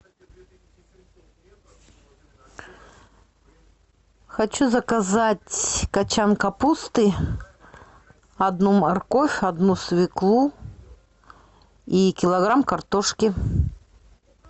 хочу заказать кочан капусты одну морковь одну свеклу и килограмм картошки